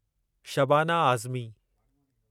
Shabana Azmi